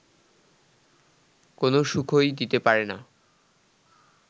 কোনও সুখই দিতে পারে না